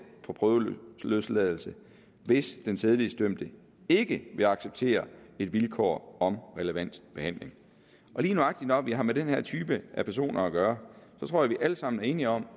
på prøveløsladelse hvis den sædelighedsdømte ikke vil acceptere et vilkår om relevant behandling lige nøjagtig når vi har med den her type af personer at gøre tror jeg vi alle sammen er enige om